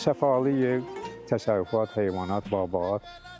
Səfalı ev, təsərrüfat, heyvanat, bağ-bahat.